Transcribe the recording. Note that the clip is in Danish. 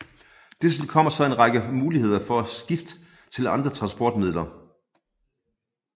Dertil kommer så en række muligheder for skift til andre transportmidler